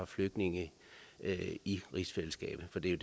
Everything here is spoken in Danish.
flygtninge i rigsfællesskabet for det er